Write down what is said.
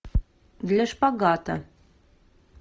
для шпагата